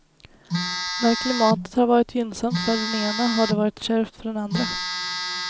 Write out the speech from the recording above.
När klimatet har varit gynnsamt för den ena har det varit kärvt för den andra.